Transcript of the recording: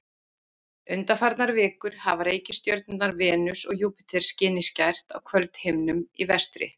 undanfarnar vikur hafa reikistjörnurnar venus og júpíter skinið skært á kvöldhimninum í vestri